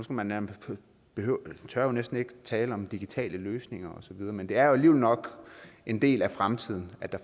på man tør jo næsten ikke at tale om digitale løsninger osv men det er jo alligevel nok en del af fremtiden